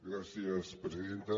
gràcies presidenta